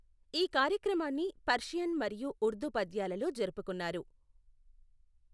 ఈ కార్యక్రమాన్ని పర్షియన్ మరియు ఉర్దూ పద్యాలలో జరుపుకున్నారు.